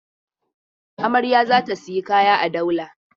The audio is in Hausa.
Amarya za ta sayi kaya a Daula.